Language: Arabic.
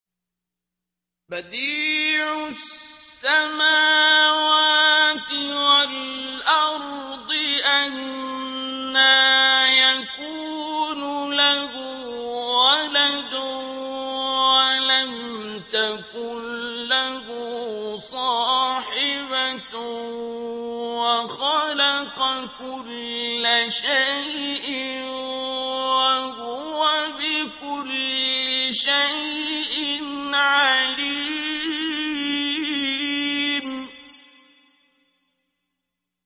بَدِيعُ السَّمَاوَاتِ وَالْأَرْضِ ۖ أَنَّىٰ يَكُونُ لَهُ وَلَدٌ وَلَمْ تَكُن لَّهُ صَاحِبَةٌ ۖ وَخَلَقَ كُلَّ شَيْءٍ ۖ وَهُوَ بِكُلِّ شَيْءٍ عَلِيمٌ